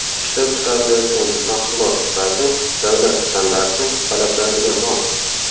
Ishlab chiqarilayotgan mahsulot sifati davlat standarti talablariga mos.